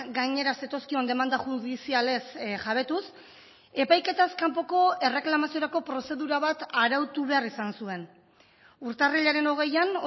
gainera zetozkion demanda judizialez jabetuz epaiketaz kanpoko erreklamaziorako prozedura bat arautu behar izan zuen urtarrilaren hogeian